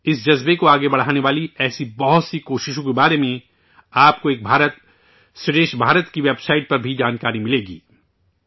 اس جذبے کو آگے بڑھانے والی ایسی بہت سی کوششوں کے بارے میں ، آپ کو 'ایک بھارت ، شریٹھ بھارت' کی ویب سائٹ پر بھی جانکاری ملے گی